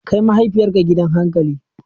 Kai mahaifiyarka gidan hankali!